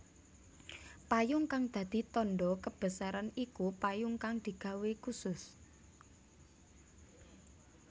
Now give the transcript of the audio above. Payung kang dadi tandha kebesaran iku payung kang digawé khusus